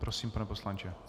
Prosím, pane poslanče.